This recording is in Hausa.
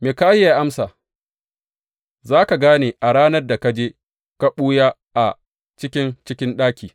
Mikahiya ya amsa, Za ka gane a ranar da ka je ka ɓuya a ciki cikin ɗaki.